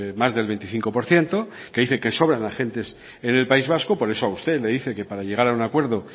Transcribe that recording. más del veinticinco por ciento que dice que sobran agentes en el país vasco por eso a usted le dice que para llegar a un acuerdo